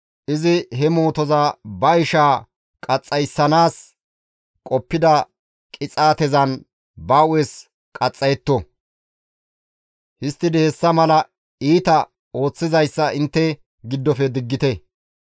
izi he mootoza ba ishaa qaxxayssanaas qoppida qixaatezan ba hu7es qaxxayetto; histtidi hessa mala iita ooththizayssa intte giddofe diggite.